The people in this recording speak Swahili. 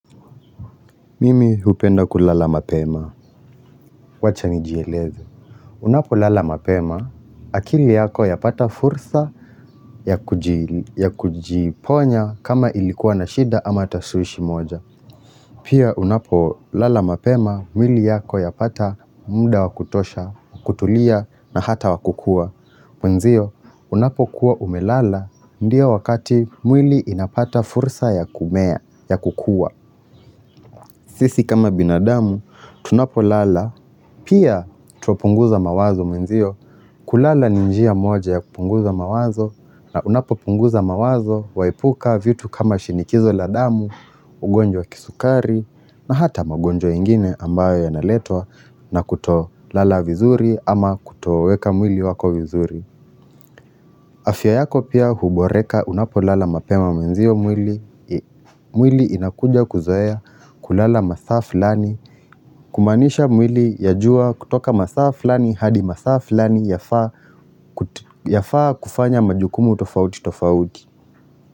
Mimi hupenda kulala mapema, wacha nijieleze Unapo lala mapema, akili yako ya pata fursa ya kujiponya kama ilikuwa na shida ama tashwishwi moja. Pia unapo lala mapema, mwili yako ya pata muda wa kutosha, kutulia na hata wakukua. Mwenzio, unapo kuwa umelala, ndiyo wakati mwili inapata fursa ya kumea, ya kukua. Sisi kama binadamu, tunapo lala, pia twapunguza mawazo mwenzio, kulala ni njia moja ya kupunguza mawazo, na unapo punguza mawazo, waepuka vitu kama shinikizo la damu, ugonjwa wa kisukari, na hata magonjwa ingine ambayo yanaletwa na kuto lala vizuri ama kutoweka mwili wako vizuri. Afya yako pia huboreka unapo lala mapema mwenzio mwili. Mwili inakuja kuzoea kulala masaa fulani Kumaanisha mwili ya jua kutoka masaa fulani hadi masaa fulani yafaa kufanya majukumu tofauti tofauti.